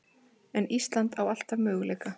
En Ísland á alltaf möguleika